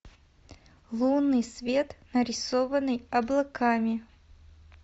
лунный свет нарисованный облаками